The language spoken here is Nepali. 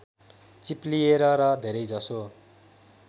चिप्लिएर र धेरैजसो